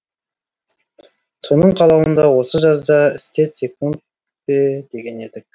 соның қалауын да осы жазда істетсек пе деген едік